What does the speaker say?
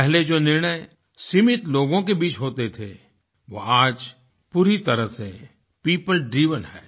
पहले जो निर्णय सीमित लोगों के बीच होते थे वो आज पूरी तरह से पियोपलड्राइवन है